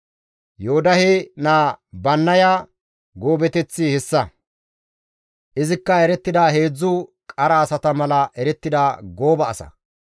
Yoodahe naa Bannaya goobateththi hessa; izikka erettida heedzdzu qara asata mala erettida gooba asa.